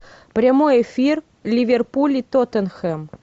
прямой эфир ливерпуль и тоттенхэм